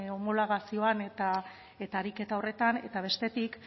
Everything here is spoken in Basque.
homologazioan eta ariketa horretan eta bestetik